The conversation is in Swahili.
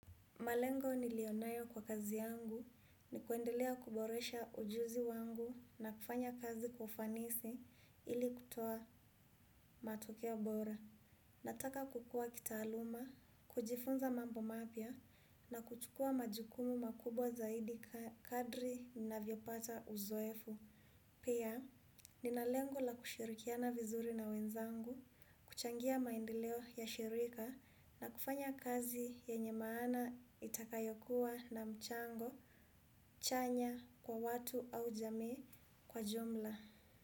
Malengo niliyo nayo kwa kazi yangu ni kuendelea kuboresha ujuzi wangu na kufanya kazi kwa ufanisi ili kutoa matokea bora. Nataka kukua kitaaluma, kujifunza mambo mapya na kuchukua majukumu makubwa zaidi kadri ninavyopata uzoefu. Pia, nina lengo la kushirikiana vizuri na wenzangu, kuchangia maendeleo ya ushirika na kufanya kazi yenye maana itakayokuwa na mchango, chanya kwa watu au jamii kwa jumla.